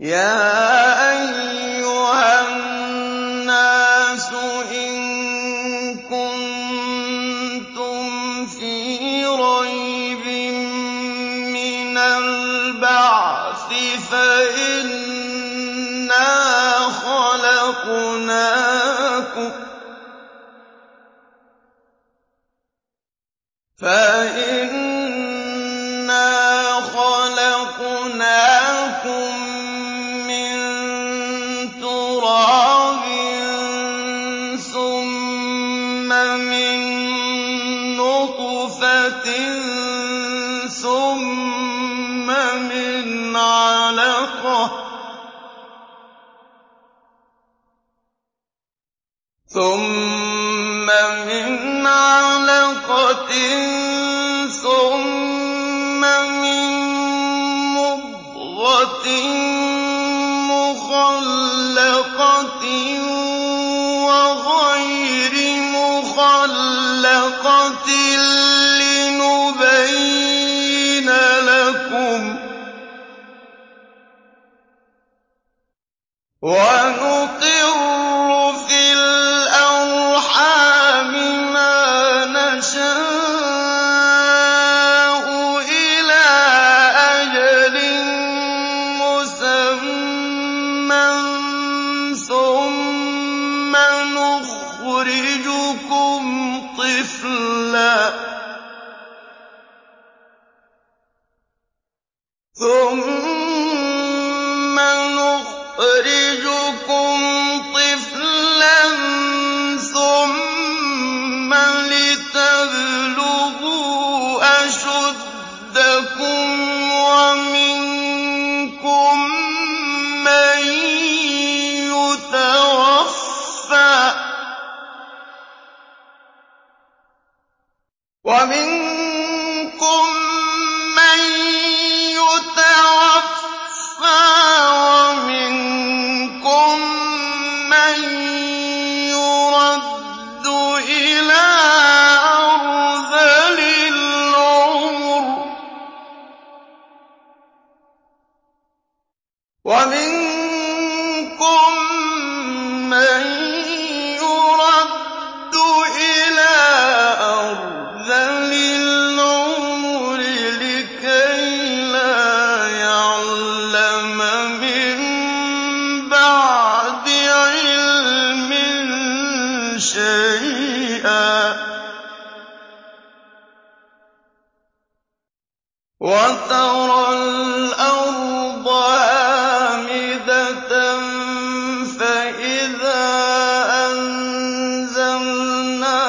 يَا أَيُّهَا النَّاسُ إِن كُنتُمْ فِي رَيْبٍ مِّنَ الْبَعْثِ فَإِنَّا خَلَقْنَاكُم مِّن تُرَابٍ ثُمَّ مِن نُّطْفَةٍ ثُمَّ مِنْ عَلَقَةٍ ثُمَّ مِن مُّضْغَةٍ مُّخَلَّقَةٍ وَغَيْرِ مُخَلَّقَةٍ لِّنُبَيِّنَ لَكُمْ ۚ وَنُقِرُّ فِي الْأَرْحَامِ مَا نَشَاءُ إِلَىٰ أَجَلٍ مُّسَمًّى ثُمَّ نُخْرِجُكُمْ طِفْلًا ثُمَّ لِتَبْلُغُوا أَشُدَّكُمْ ۖ وَمِنكُم مَّن يُتَوَفَّىٰ وَمِنكُم مَّن يُرَدُّ إِلَىٰ أَرْذَلِ الْعُمُرِ لِكَيْلَا يَعْلَمَ مِن بَعْدِ عِلْمٍ شَيْئًا ۚ وَتَرَى الْأَرْضَ هَامِدَةً فَإِذَا أَنزَلْنَا